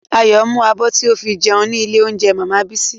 Ayọ̀ mú abọ́ tí o fi jẹun ní ilé óúnjẹ màmá Bísí